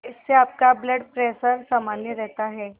इससे आपका blood pressure सामान्य रहता है